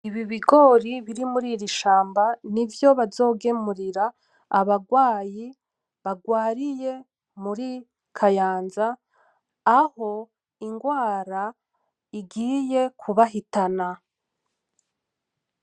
Ibi bigori biri muririshamba nivyo bazogemurira abarwayi barwariye muri kayanza aho ingwara igiye kibahitana.